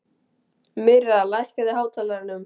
Myrra, lækkaðu í hátalaranum.